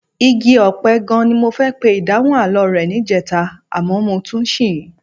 Igi ọ̀pẹ gan-an ni mo fẹ́ pe ìdáhùn àlọ́ rẹ níjẹta àmọ́ mo tún ṣì í.